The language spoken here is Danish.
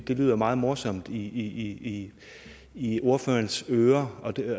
lyder meget morsomt i i ordførerens ører og det er